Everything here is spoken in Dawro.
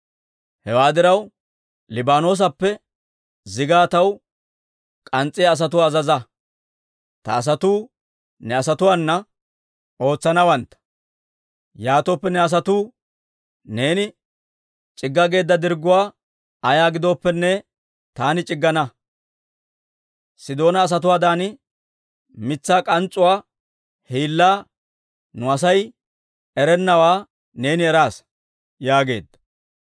Hewaa diraw, Liibaanoosappe zigaa taw k'ans's'iyaa asatuwaa azaza; ta asatuu ne asatuwaana ootsanawantta. Yaatooppe ne asatoo neeni c'igga geedda dirgguwaa ayaa giddooppene, taani c'iggana. Sidoona asatuwaadan mitsaa k'ans's'uwaa hiillaa nu Asay erennawaa neeni eraasa» yaageedda.